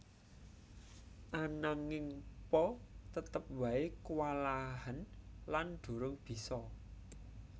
Ananging Po tetep wae kuwalahen lan durung bisa